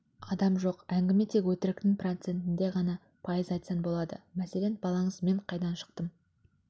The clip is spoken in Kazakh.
адам жоқ әңгіме тек өтіріктің процентінде ғана пайыз айтсаң болады мәселен балаңыз мен қайдан шықтым